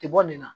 Tɛ bɔ nin na